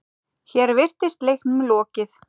Hér virtist leiknum lokið.